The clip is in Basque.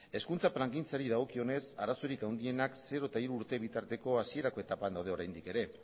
hezkuntza plangintzari dagokionez arazorik handienak zero eta hiru urte bitarteko hasierako etapan daude oraindik ere